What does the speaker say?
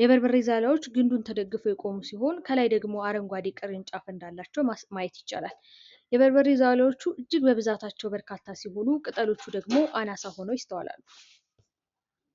የበርበሬ ዛላዎቹ ግንዱን ተደግፈው የቆሙ ሲሆን፤ ከላይ ደግሞ አረንጓዴ ቅርንጫፍ እንዳላቸው ማየት ይቻላል። የበርበሬ ዛላዎቹ እጅግ በብዛታቸው በርካታ ሲሆኑ፤ ቅጠሎቹ ደግሞ አናሳ ሆነው ይስተዋላሉ።